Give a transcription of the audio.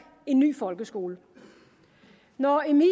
en ny folkeskole når emil